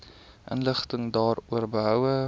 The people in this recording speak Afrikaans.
inligting daaroor behoue